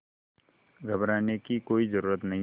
घबराने की कोई ज़रूरत नहीं